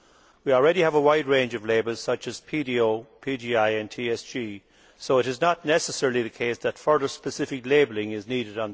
We already have a wide range of labels, such as PDO, PGI and TSG, so it is not necessarily the case that further specific labelling on this is needed.